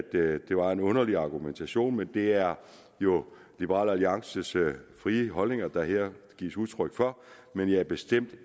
at det var en underlig argumentation men det er jo liberal alliances frie holdninger der her gives udtryk for men det er bestemt